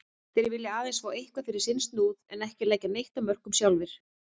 Þeir vilja aðeins fá eitthvað fyrir sinn snúð en ekki leggja neitt af mörkum sjálfir.